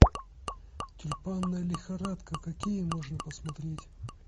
тюльпанная лихорадка какие можно посмотреть